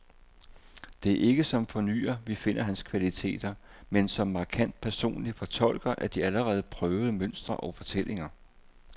Det er ikke som fornyer, vi finder hans kvaliteter, men som markant personlig fortolker af de allerede prøvede mønstre og fortællinger.